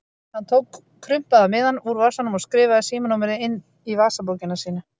Hann tók krumpaða miðann úr vasanum og skrifaði síma- númerið inn í vasabókina sína.